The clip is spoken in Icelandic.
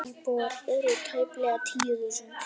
Íbúar eru tæplega tíu þúsund.